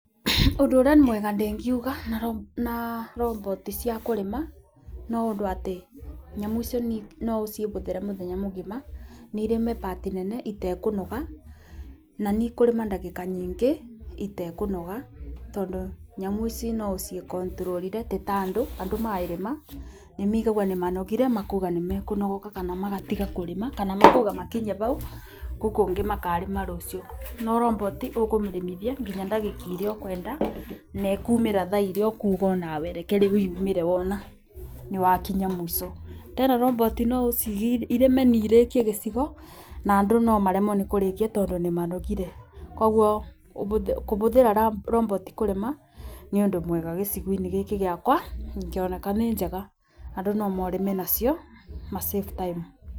Ũndũ ũrĩa mwega ndĩngiuga na roboti cia kũrĩma no ũndũ atĩ nyamũ icio no ũcobũthĩre mũthenya mũgima na irĩme bati nene itekũnoga. Na nĩ ikũrĩma ndagĩka nyingĩ itekũnoga tondũ nyamũ ici no ũcikoniturũrire ti ta andũ , andũ marĩma nĩ moigaga nĩ manogire makoiga nĩ mekũnogoka kana magatiga kũrĩma. Kana makaiga matikinyie bau kũu kũngĩ makarĩma rũciũ, no roboti ukũmĩrĩmithia ngina ndagĩka iria ũkwenda na ĩkũmĩra thaa iria ũkuga onawe reke rĩu yumĩre wona nĩ wakinya mũico. Tena roboti no ũcire ĩrĩme na irĩkie gĩcigo na andũ no maremwo nĩ kũrĩkia tondũ nĩ manogire. Koguo kũbũthĩra robiti kũrĩma nĩ ũndũ mwega gĩcigo-inĩ gĩkĩ gĩakwa ikĩoneka nĩ njega andũ no marĩme nacio ma save time.